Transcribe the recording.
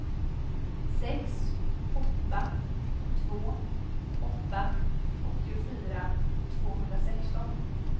sex åtta två åtta åttiofyra tvåhundrasexton